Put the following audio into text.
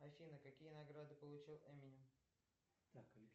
афина какие награды получил эминем